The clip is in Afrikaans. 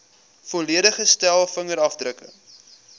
volledige stel vingerafdrukke